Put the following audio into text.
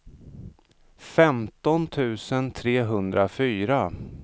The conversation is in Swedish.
femton tusen trehundrafyra